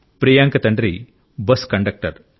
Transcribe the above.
ప్రియాంక తండ్రి bus conductor